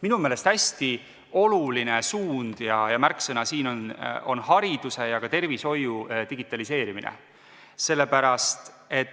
Minu meelest hästi oluline suund ja märksõna siin on hariduse ja ka tervishoiu digitaliseerimine.